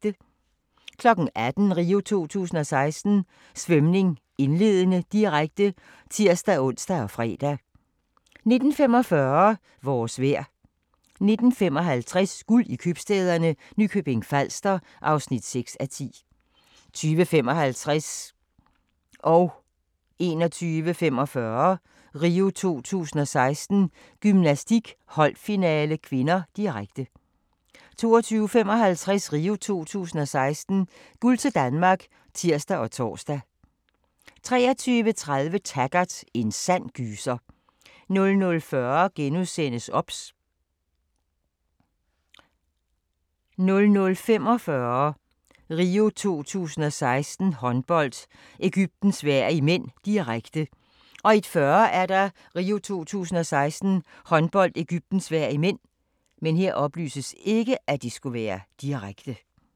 18:00: RIO 2016: Svømning, indledende, direkte (tir-ons og fre) 19:45: Vores vejr 19:55: Guld i købstæderne – Nykøbing Falster (6:10) 20:55: RIO 2016: Gymnastik - holdfinale (k), direkte 21:45: RIO 2016: Gymnastik - holdfinale (k), direkte 22:55: RIO 2016: Guld til Danmark (tir og tor) 23:30: Taggart: En sand gyser 00:40: OBS * 00:45: RIO 2016: Håndbold - Egypten-Sverige (m), direkte 01:40: RIO 2016: Håndbold - Egypten-Sverige (m)